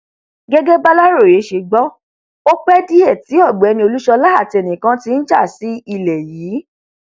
gẹgẹ bàlàròyé ṣe gbọ ọ pé díẹ tí ọgbẹni olúṣọlá àti ẹnìkan ti ń já sí ilé yìí